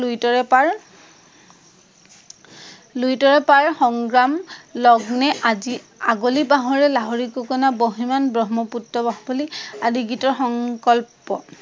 লুইতৰে পাৰ সংগ্ৰাম লগ্নে, আজি আঁগলি বাহৰে লাহৰি গগনা, বহ্নিমান ব্ৰহ্মপুত্ৰ বাকলি আদি গীতৰ সংকল্প